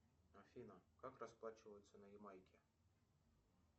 афина как расплачиваться на ямайке